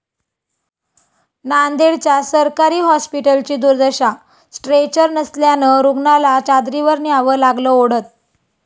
नांदेड्च्या सरकारी हॉस्पिटलची दुर्दशा, स्ट्रेचर नसल्यानं रूग्णाला चादरीवर न्यावं लागलं ओढत